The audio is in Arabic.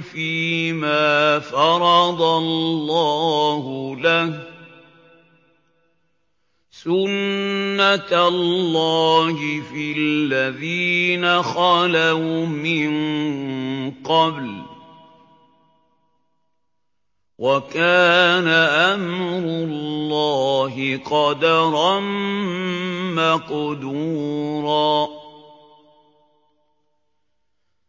فِيمَا فَرَضَ اللَّهُ لَهُ ۖ سُنَّةَ اللَّهِ فِي الَّذِينَ خَلَوْا مِن قَبْلُ ۚ وَكَانَ أَمْرُ اللَّهِ قَدَرًا مَّقْدُورًا